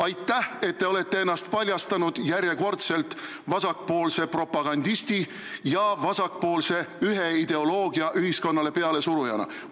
Aitäh, et te olete ennast järjekordselt paljastanud vasakpoolse propagandisti, vasakpoolse ideoloogia ühiskonnale pealesurujana!